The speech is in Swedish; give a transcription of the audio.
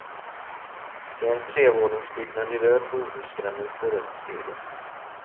Det är en trevåningsbyggnad i röd bohusgranit och rött tegel.